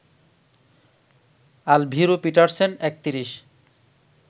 Alviro Petersen ৩১